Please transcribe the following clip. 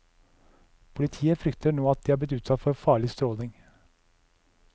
Politiet frykter nå at de er blitt utsatt for farlig stråling.